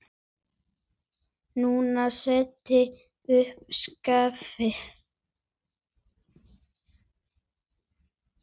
Nína setti upp skeifu.